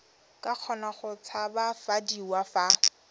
ka kgona go tshabafadiwa fa